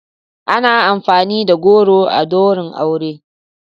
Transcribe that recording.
Ana amfani da goro a ɗaurin aure.